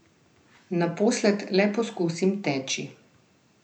Naposled le poskusim teči.